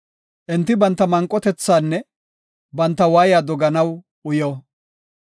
Enti banta manqotethaanne banta waayiya doganaw uyo.